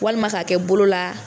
Walima k'a kɛ bolo la